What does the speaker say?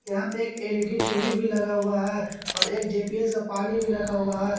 यहां पे एक एल_ई_डी टी_वी भी लगा हुआ है और एक जे_पी_एस का पानी भी रखा हुआ है।